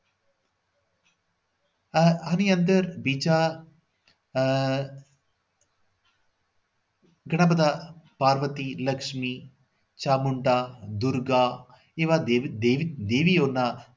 આ આની અંદર બીજા આહ ઘણા બધા પ્રગતિ લક્ષ્મી ચામુંડા દુર્ગા એવા દેવ દેવીઓના